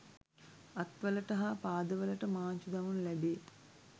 අත්වලට හා පාදවලට මාංචු දමනු ලැබේ